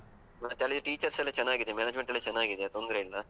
ಮತ್ತಲ್ಲಿ teachers ಎಲ್ಲ ಚನ್ನಾಗಿದೆ, management ಎಲ್ಲ ಚನ್ನಾಗಿದೆ, ತೊಂದ್ರೆ ಇಲ್ಲ.